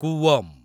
କୁୱମ୍